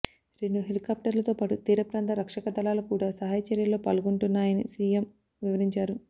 రెండు హెలికాప్టర్లతో పాటు తీరప్రాంత రక్షక దళాలు కూడా సహాయ చర్యల్లో పాల్గొంటున్నాయని సియం వివరించారు